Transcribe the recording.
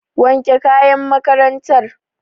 Wanke kayan makarantar.